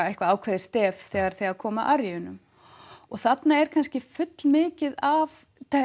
eitthvað ákveðið stef þegar þegar kom að og þarna er kannski fullmikið af